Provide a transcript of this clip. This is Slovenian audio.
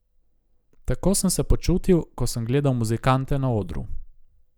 Tako sem se počutil, ko sem gledal muzikante na odru.